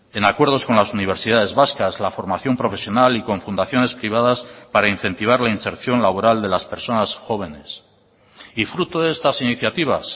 en acuerdos con las universidades vascas la formación profesional y con fundaciones privadas para incentivar la inserción laboral de las personas jóvenes y fruto de estas iniciativas